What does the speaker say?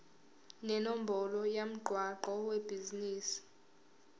nenombolo yomgwaqo webhizinisi